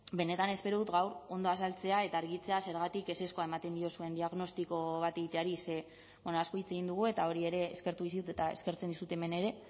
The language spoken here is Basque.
benetan espero dut gaur ondo azaltzea eta argitzea zergatik ezezkoa ematen diozuen diagnostiko bat egiteari ze asko hitz egin dugu eta hori ere eskertu dizut eta eskertzen dizut hemen ere